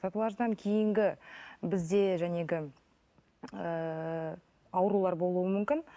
татуаждан кейінгі бізде ыыы аурулар болуы мүмкін